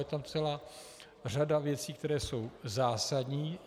Je tam celá řada věcí, které jsou zásadní.